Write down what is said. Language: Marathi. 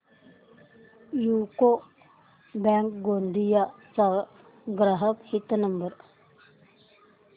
यूको बँक गोंदिया चा ग्राहक हित नंबर